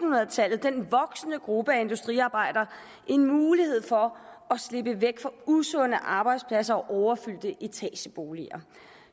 hundrede tallet den voksende gruppe af industriarbejdere en mulighed for at slippe væk fra usunde arbejdspladser og overfyldte etageboliger